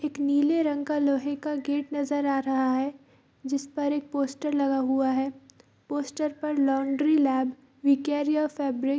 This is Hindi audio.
एक नील रंग का लोहे का गेट नजर आ रहा है जिस पर एक पोस्टर लगा हुआ है | पोस्टर पर laundry lab we care your fabric --